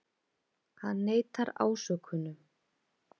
Hann neitar ásökunum